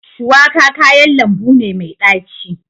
Shuwaka kayan lambu ne mai daci.